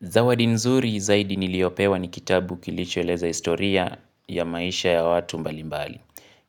Zawadi nzuri zaidi niliopewa ni kitabu kilichoeleza historia ya maisha ya watu mbalimbali.